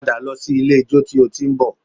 Padà lọ sí ilé-ijó tí o ti ń bọ̀